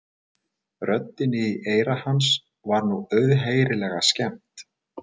Röddinni í eyra hans var nú auðheyrilega skemmt.